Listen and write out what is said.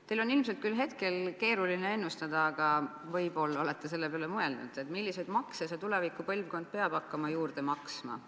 Teil on hetkel ilmselt küll keeruline ennustada, aga võib-olla olete selle peale mõelnud, milliseid makse see tuleviku põlvkond peab hakkama juurde maksma.